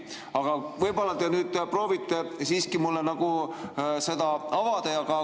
Aga võib-olla te nüüd proovite siiski mulle seda avada.